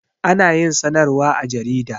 Ana yin sanarwa a jarida